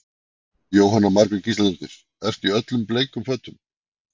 Jóhanna Margrét Gísladóttir: Ertu í öllum bleikum fötum?